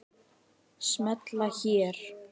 Smella hér